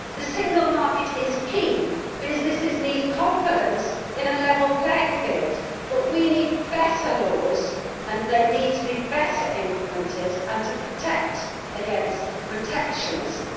The single market is key businesses need confidence in a level playing field but we also need better laws and they need to be better implemented and to protect against protectionism.